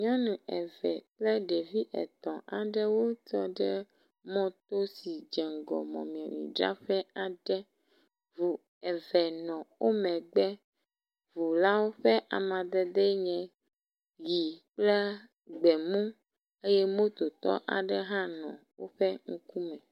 Nyɔnu eve kple ɖevi etɔ̃ aɖewo tɔ ɖe mɔto si dze ŋgɔ mɔmemidzraƒe aɖe, ʋu eve nɔ wo megbe, ʋulawo ƒe amadede enye ɣi kple gbemu eye mototɔ aɖe hã nɔ woƒe ŋkume.